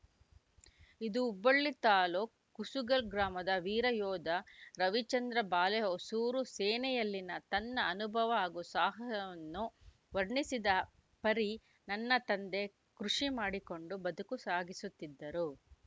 ಇದು ಹುಬ್ಬಳ್ಳಿ ತಾಲೂಕು ಕುಸುಗಲ್‌ ಗ್ರಾಮದ ವೀರ ಯೋಧ ರವಿಚಂದ್ರ ಬಾಲೆಹೊಸೂರು ಸೇನೆಯಲ್ಲಿನ ತನ್ನ ಅನುಭವ ಹಾಗೂ ಸಾಹಸವನ್ನು ವರ್ಣಿಸಿದ ಪರಿ ನನ್ನ ತಂದೆ ಕೃಷಿ ಮಾಡಿಕೊಂಡು ಬದುಕು ಸಾಗಿಸುತ್ತಿದ್ದರು